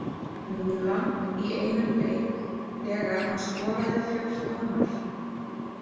Mílan í einum leik þegar hann skoraði fjórtán mörk.